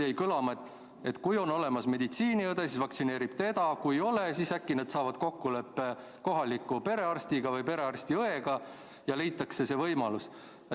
Jäi kõlama, et kui on olemas meditsiiniõde, siis vaktsineerib tema, aga kui ei ole, siis äkki saadakse kokkuleppele kohaliku perearsti või pereõega ja leitakse see võimalus.